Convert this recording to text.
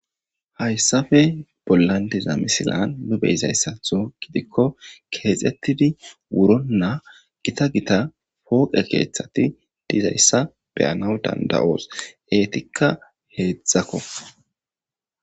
hayssafe pollandizamisilan nubeyzayssatho gidikko keexettidi wuronna gita gita pooqe keeththati dizayssa beyanaw danda7oos eetikka heedzdzakko